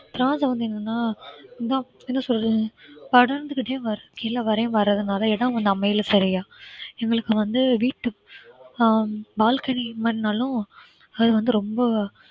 திராட்சை வந்து என்னன்னா என்ன என்ன சொல்றது படர்ந்துகிட்டே வரும் கீழ வரையும் வரதுனால இடம் வந்து அமையல சரியா எங்களுக்கு வந்து வீட்டு ஹம் balcony மாதிரி இருந்தாலும் அது வந்து ரொம்ப